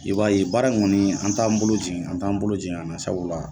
I b'a ye baara in kɔni an t'an bolo jigin an t'an bolo jigin sabula.